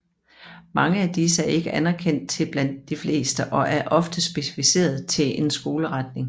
Mange af disse er ikke anerkendt blandt de fleste og er oftest specificeret til en skoleretning